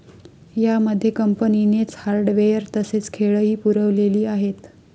या मध्ये कंपनीनेच हार्डवेअर तसेच खेळही पुरवलेली आहेत.